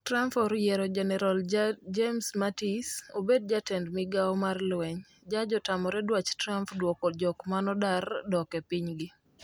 Trump oyiero Jenarol James Mattis, obed jatend migao mar lweny. Jaj otamore dwach Trump dwoko jok manodar dok e pinygi.